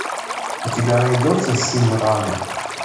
у тебя найдется симран